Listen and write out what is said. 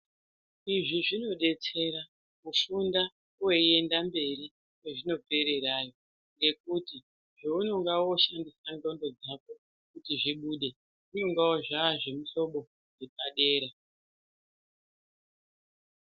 Izvi zvinodetsera kufunda weienda mberi kwezvinopererayo ngekuti zvounonga woshandisa nxondo dzako kuti zvibude zvinongawo zvazvemuhlobo wepadera .